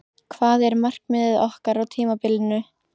Hvað er markmiðið okkar á tímabilinu?